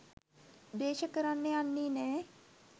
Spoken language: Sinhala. ද්වේශ කරන්න යන්නේ නෑ.